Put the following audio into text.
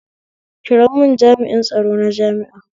Ki ran mun jami'in tsaro na jami'a